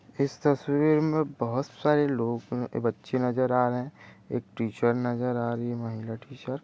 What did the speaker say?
इस तस्वीर में बहुत सारे लोग अ बच्चे नजर आ रहे है एक टीचर नजर आ रही है महिला टीचर ।